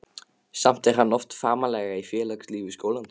Samt er hann oft framarlega í félagslífi skólans.